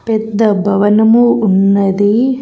పెద్ద భవనము ఉన్నది.